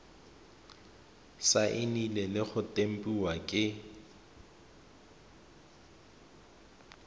saenilwe le go tempiwa ke